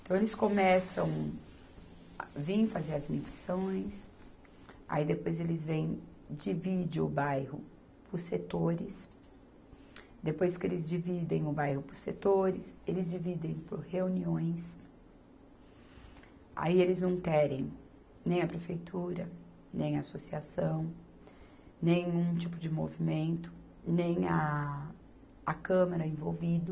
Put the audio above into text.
Então, eles começam vir fazer as medições, aí depois eles vêm divide o bairro por setores, depois que eles dividem o bairro por setores, eles dividem por reuniões, aí eles não querem nem a prefeitura, nem a associação, nenhum tipo de movimento, nem a, a câmara envolvido,